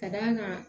Ka d'a kan